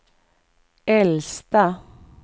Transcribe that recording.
äldsta